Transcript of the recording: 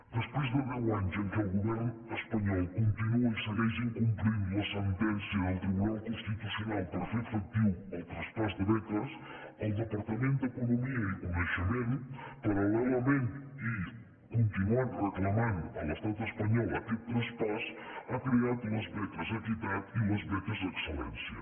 després de deu anys en què el go·vern espanyol continua i segueix incomplint la sentèn·cia del tribunal constitucional per fer efectiu el traspàs de beques el departament d’economia i coneixement paral·lelament i continuant reclamant a l’estat espa·nyol aquest traspàs ha creat les beques equitat i les be·ques excel·lència